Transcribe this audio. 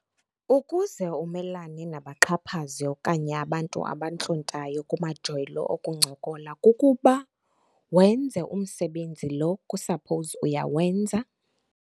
Ukuze umelane nabaxhaphazi okanye abantu abantlontayo kumajelo okuncokola kukuba wenze umsebenzi lo kusaphowuzi uyawenza.